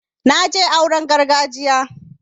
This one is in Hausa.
na je auren gargajiya